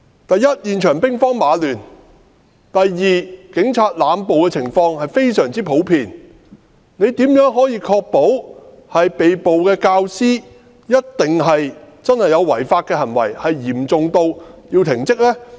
第一，現場兵荒馬亂；第二，警察濫捕的情況非常普遍，他如何確保被捕的教師一定曾作出違法的行為，並且嚴重至需要停職呢？